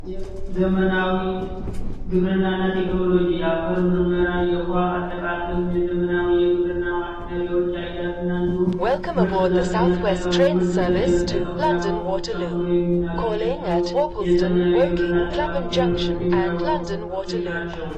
ዘመናዊ ግብርናና ቴክኖሎጂ የአፈር ምርመራ አጠቃቀም የገመናዊ የግብርና እንዲሁም ምርጥ ዘርፍ የመጠቀም ምርጥ ዘር የመጠቀሙ ያወጡ ጨምሮ የሚናገረው የዘመናዊ ግብርና ቴክኖሎጂ ሙያዊ የሆኑ ትምህርቶች ናቸው